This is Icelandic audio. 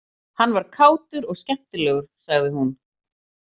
Hann var kátur og skemmtilegur sagði hún.